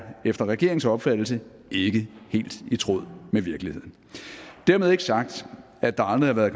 efter regeringens opfattelse ikke helt i tråd med virkeligheden dermed ikke sagt at der aldrig